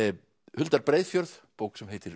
huldar Breiðfjörð bók sem heitir